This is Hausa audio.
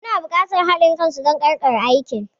Muna neman haɗin kan su don ƙarƙare aikin.